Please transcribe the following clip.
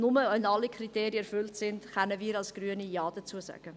Nur wenn alle Kriterien erfüllt sind, können wir Grüne Ja dazu sagen.